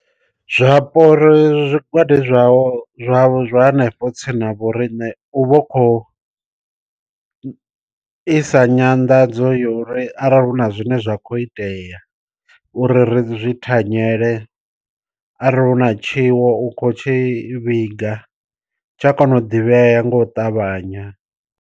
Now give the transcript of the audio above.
Zwapo ri zwigwada zwavho zwa zwa hanefho tsini na vho riṋe u vha u khou isa nyanḓadzo ya uri arali hu na zwine zwa khou itea uri ri zwi thanyele, arali hu na tshiwo u kho tshi vhiga tsha kona u ḓivhea nga u ṱavhanya.